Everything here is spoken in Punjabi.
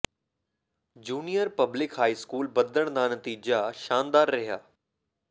junior public high school Baddhan ਦਾ ਨਤੀਜਾ ਸ਼ਾਨਦਾਰ ਰਿਹਾ